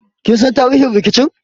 Kin san tarihin rikicin?